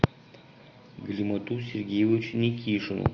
галимату сергеевичу никишину